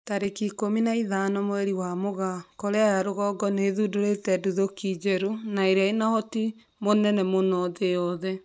Tarĩki ikũmi na ithano wa Mũgaa, Korea ya rũgongo nĩ ĩthundũrĩte nduthũki njerũ na ĩrĩa ĩna ũhoti mũnene mũno thĩ yothe